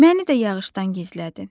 Məni də yağışdan gizlədin.